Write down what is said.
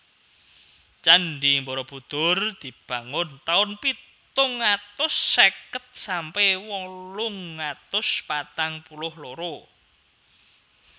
Candhi Barabudhur dibangun taun pitung atus seket sampe wolung atus patang puluh loro